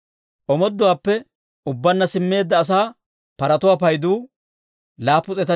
Omooduwaappe ubbaanna simmeedda asaa paratuwaa paydu 736; bak'ulotuu 245;